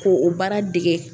Ko o baara dege